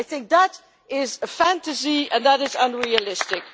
I think that is a fantasy and that is unrealistic.